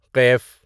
قیف